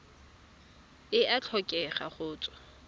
e a tlhokega go tswa